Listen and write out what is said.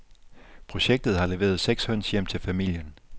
Projektet har leveret seks høns hjem til familien.